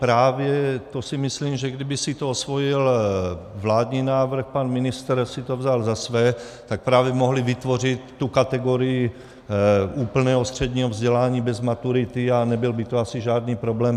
Právě to si myslím, že kdyby si to osvojil vládní návrh, pan ministr si to vzal za své, tak právě mohli vytvořit tu kategorii úplného středního vzdělání bez maturity a nebyl by to asi žádný problém.